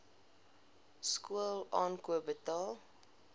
skool aankoop betaal